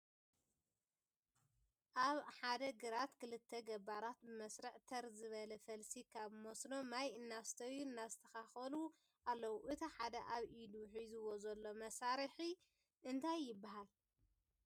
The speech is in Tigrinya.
ኣብ ሓደ ግራት ክልተ ገባራት ብመስርዕ ተር ዝበለ ፈልሲ ካብ መስኖ ማይ እናስተዩ እናሰተካከሉን ኣለዉ እቲ ሓደ ኣብ ኢዱ ሒዝዎ ዘሎ ማሳርሒ እንታይ ይበሃል?